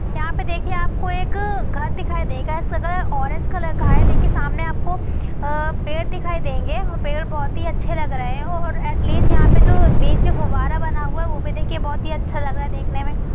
यहाँ पे देखिए आप को एक घर दिखाई देगा। इसका कलर ऑरेंज कलर का है देखिये सामने आप को अ पेड़ दिखाई देंगे पेड़ बहुत ही अच्छे लग रहे है और एटलिस्ट यहाँ पे जो नीचे फुव्वारा बना हुआ है वो भी देखिए बहुत ही अच्छा लग रहा है देखने में